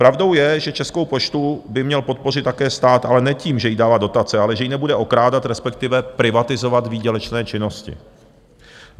Pravdou je, že Českou poštu by měl podpořit také stát, ale ne tím, že jí dává dotace, ale že ji nebude okrádat, respektive privatizovat výdělečné činnosti.